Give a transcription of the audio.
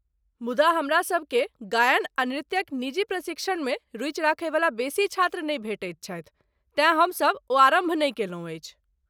मुदा हमरासभ केँ गायन आ नृत्यक निजी प्रशिक्षणमे रुचि राखयवला बेसी छात्र नहि भेटैत छथि, तेँ हमसभ ओ आरम्भ नहि कयलहुँ अछि।